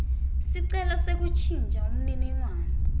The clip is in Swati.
sicelo sekuntjintja imininingwane